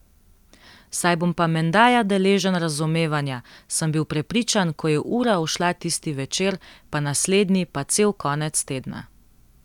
Saj bom pa menda ja deležen razumevanja, sem bil prepričan, ko je ura ušla tisti večer, pa naslednji pa cel konec tedna.